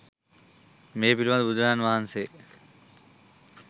මේ පිළිබඳ බුදුරජාණන් වහන්සේ